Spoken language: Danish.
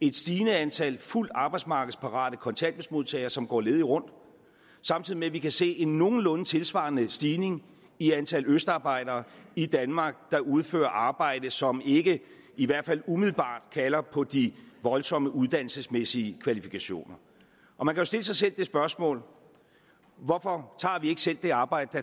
et stigende antal fuldt arbejdsmarkedsparate kontanthjælpsmodtagere som går ledige rundt samtidig med at vi kan se en nogenlunde tilsvarende stigning i antallet af østarbejdere i danmark der udfører arbejde som ikke i hvert fald umiddelbart kalder på de voldsomme uddannelsesmæssige kvalifikationer man kan stille sig selv det spørgsmål hvorfor tager vi ikke selv det arbejde